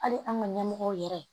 Hali an ka ɲɛmɔgɔw yɛrɛ